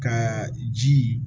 Ka ji